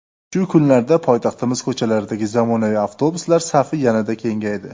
Shu kunlarda poytaxtimiz ko‘chalaridagi zamonaviy avtobuslar safi yanada kengaydi.